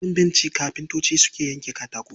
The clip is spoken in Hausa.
A kan bencin kafintocin suke yanka katako.